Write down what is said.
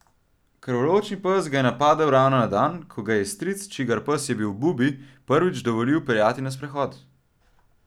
Krvoločni pes ga je napadel ravno na dan, ko ji ga je stric, čigar pes je bil Bubi, prvič dovolil peljati na sprehod.